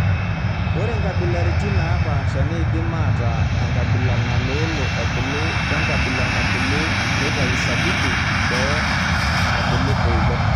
Ore nkabilaritin naapasha neidim ataa enkabila naloolo ebulu, wenkabila nabulu neitayu sabibu boo nabulu eilep.